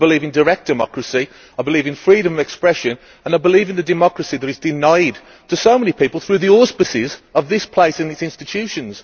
I believe in direct democracy, I believe in freedom of expression and I believe in the democracy that is denied to so many people under the auspices of this place and these institutions.